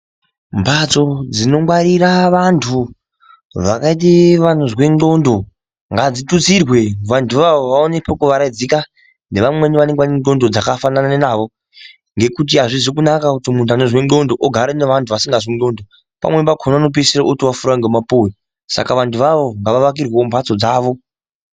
Mbatso dzinogwarira vantu vakaite vaonzwa ndxondo ngadzitutsirwe vantu iwawo wawane pekuwaraidzika nevamwe vanenge vaine ndxondo dzakafanana nawo ngekuti hazvizi kunaka kuti munhu anozwe ndxondo ogare nevanhu vasingazwe ndxondo pamweni pakona anopedzisira otowafure ngemapuwe saka vantu iwawo ngawawakirwewo mbatso dzawo.